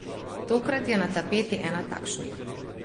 Tokrat je na tapeti ena takšnih.